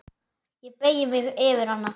Ég beygi mig yfir hana.